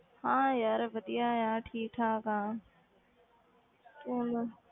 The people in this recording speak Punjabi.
ਹਾਂ ਯਾਰ ਵਧੀਆ ਆ ਠੀਕ ਠਾਕ ਆ ਤੂੰ ਦੱਸ।